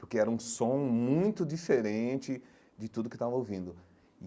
Porque era um som muito diferente de tudo que eu estava ouvindo.